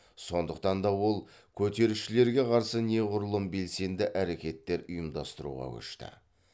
сондықтан да ол көтерілісшілерге қарсы неғұрлым белсенді әрекеттер ұйымдастыруға көшті